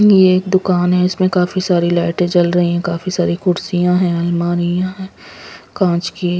ये एक दुकान है इसमें काफी सारी लाइटें जल रही हैं काफी सारी कुर्सियां हैं अलमारियां कांच की--